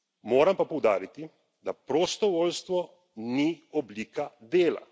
Moram pa poudariti, da prostovoljstvo ni oblika dela.